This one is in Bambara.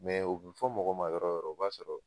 o bɛ fɔ mɔgɔ ma yɔrɔ o yɔrɔ o b'a sɔrɔ